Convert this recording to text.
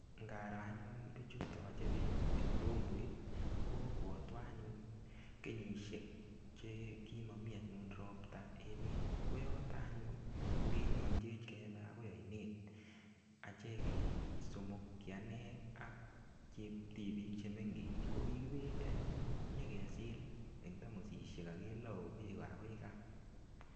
Ngaro anyu bichuton toche beek en mbumbuit kobwotwon anyun kenyishek chekimomi anyun robta emet, koyote anyun ko kinyolchech kebe anyun akoi oinet achek kisomok, kianee ak cheptibik chemengech ko kikibendi anyun nyokesil en tamosishek ak kelou beek akoi kaa.